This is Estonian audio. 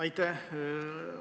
Aitäh!